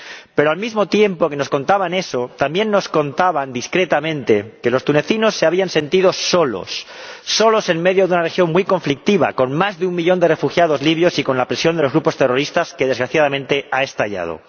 Pero, al mismo tiempo que nos contaban eso, también nos contaban discretamente que los tunecinos se habían sentido solos, solos en medio de una región muy conflictiva, con más de un millón de refugiados libios y con la presión de los grupos terroristas, que desgraciadamente ha estallado.